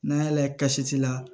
N'an y'a layɛ kasi la